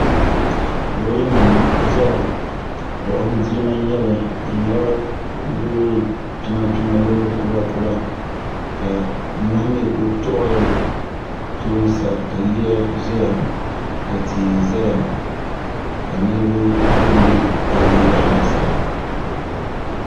loori nima n-ʒeya buɣim dilima n-nyɛli di nyɛla loori kpima kpima loori kura kura ka nyɔhi mi kuli tuɣiri tooni sa ka yiya zaya ka tia za ka niriba be n-be palli yaɣili sa.